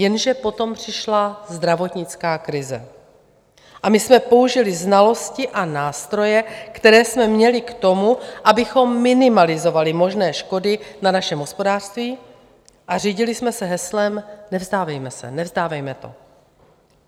Jenže potom přišla zdravotnická krize a my jsme použili znalosti a nástroje, které jsme měli k tomu, abychom minimalizovali možné škody na našem hospodářství, a řídili jsme se heslem "nevzdávejme se, nevzdávejme to".